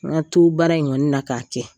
Na' baara in kɔni na k'a kɛ.